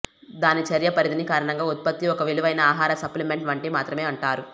దాని చర్య పరిధిని కారణంగా ఉత్పత్తి ఒక విలువైన ఆహార సప్లిమెంట్ వంటి మాత్రమే అంటారు